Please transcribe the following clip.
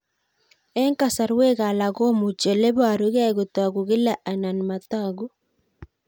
Eng' kasarwek alak komuchi ole parukei kotag'u kila anan matag'u